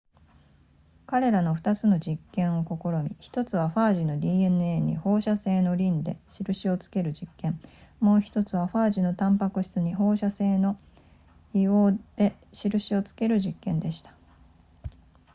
彼らは2つの実験を試み1つはファージの dna に放射性のリンで印をつける実験もう1つはファージのタンパク質に放射性の硫黄で印をつける実験でした